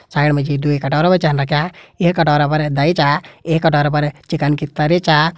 Side मा जी दुई कटोरा भी छन रख्यां एक कटोरा पर दही चा एक कटोरा पर चिकन की तरी चा।